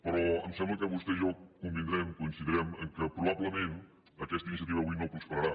però em sembla que vostè i jo convindrem coincidirem en el fet que probablement aquesta iniciativa avui no prosperarà